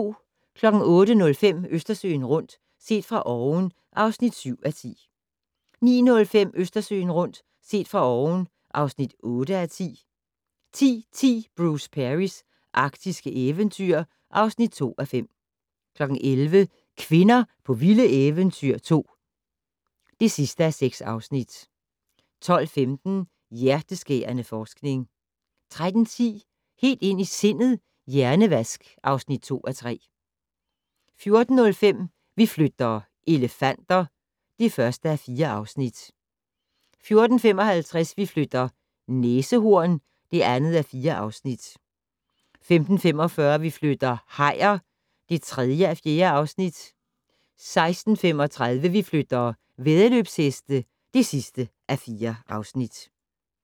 08:05: Østersøen rundt - set fra oven (7:10) 09:05: Østersøen rundt - set fra oven (8:10) 10:10: Bruce Perrys arktiske eventyr (2:5) 11:00: Kvinder på vilde eventyr 2 (6:6) 12:15: Hjerteskærende forskning 13:10: Helt ind i sindet: Hjernevask (2:3) 14:05: Vi flytter - elefanter (1:4) 14:55: Vi flytter - næsehorn (2:4) 15:45: Vi flytter - hajer (3:4) 16:35: Vi flytter - væddeløbsheste (4:4)